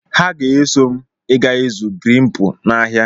Ha ga-eso m ịga ịzụ greepu n'ahia.